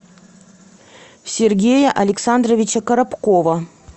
сергея александровича коробкова